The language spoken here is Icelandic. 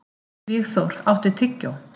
Vígþór, áttu tyggjó?